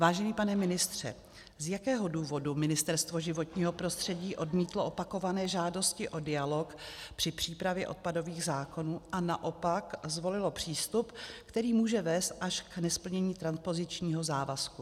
Vážený pane ministře, z jakého důvodu Ministerstvo životního prostředí odmítlo opakované žádosti o dialog při přípravě odpadových zákonů a naopak zvolilo přístup, který může vést až k nesplnění transpozičního závazku?